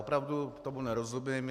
Opravdu tomu nerozumím.